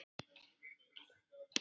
Seinna urðum við vinir.